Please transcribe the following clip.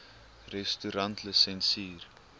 restaurantlisensier